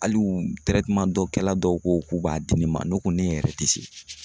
Hali u dɔ kɛla dɔw ko ko k'u b'a di ne ma ne ko ne yɛrɛ tɛ se